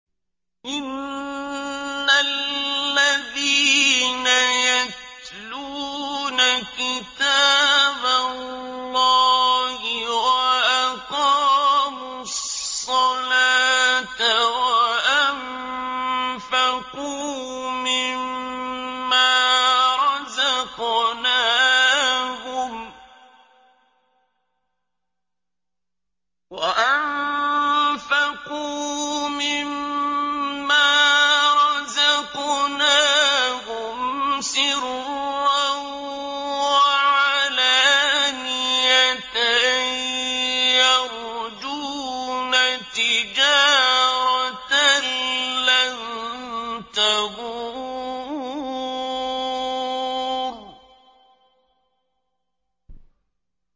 إِنَّ الَّذِينَ يَتْلُونَ كِتَابَ اللَّهِ وَأَقَامُوا الصَّلَاةَ وَأَنفَقُوا مِمَّا رَزَقْنَاهُمْ سِرًّا وَعَلَانِيَةً يَرْجُونَ تِجَارَةً لَّن تَبُورَ